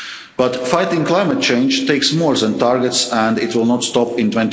EU level. But fighting climate change takes more than targets, and it will not